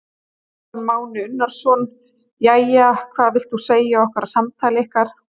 Kristján Már Unnarsson: Jæja, hvað vilt þú segja okkur af samtali ykkar?